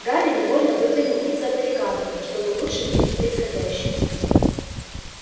гарри невольно выглянул из-за баррикады чтобы лучше видеть происходящее